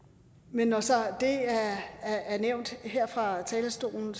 men når så det er nævnt her fra talerstolen